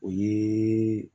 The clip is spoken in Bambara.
O ye